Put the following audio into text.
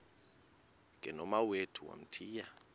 ke nomawethu wamthiya